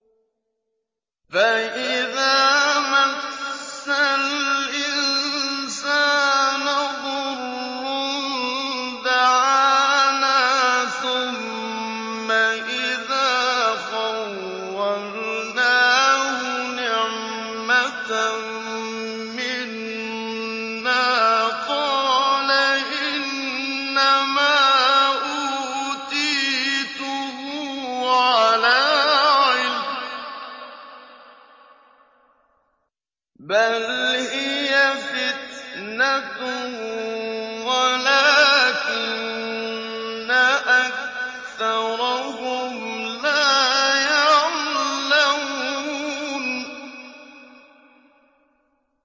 فَإِذَا مَسَّ الْإِنسَانَ ضُرٌّ دَعَانَا ثُمَّ إِذَا خَوَّلْنَاهُ نِعْمَةً مِّنَّا قَالَ إِنَّمَا أُوتِيتُهُ عَلَىٰ عِلْمٍ ۚ بَلْ هِيَ فِتْنَةٌ وَلَٰكِنَّ أَكْثَرَهُمْ لَا يَعْلَمُونَ